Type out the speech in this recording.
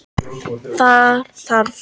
Þar þarf